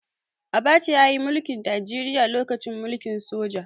Abacha ya yi mulki Najeriya lokacin mulkin soja.